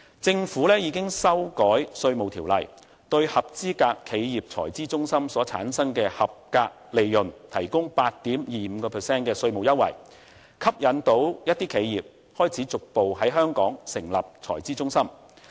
政府已修改《稅務條例》，對合資格企業財資中心所產生的合資格利潤提供 8.25% 的稅務優惠，成功吸引一些企業開始逐步在香港成立財資中心。